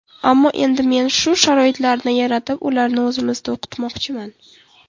Ammo endi men shu sharoitlarni yaratib, ularni o‘zimizda o‘qitmoqchiman.